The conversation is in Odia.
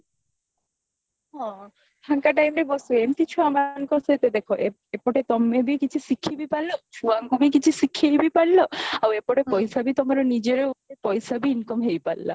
ଫାଙ୍କ timeରେ ବସେ ଏମତି ଛୁଆମାନଙ୍କ ସହିତ ଦେଖ ଏପଟେ ତମେ ବି କିଛି ଶିଖିବି ପାରିଲା ଛୁଆଙ୍କୁ ବି କିଛି ଶିଖେଇବି ପାରିଲା ଆଉ ଏପଟେ ପାଇସାବି ତମର ନିଜର ପଇସାବି income ହେଇପାରିଲା